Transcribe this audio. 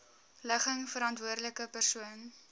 ligging verantwoordelike persoon